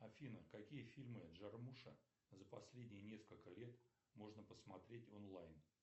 афина какие фильмы джармуша за последние несколько лет можно посмотреть онлайн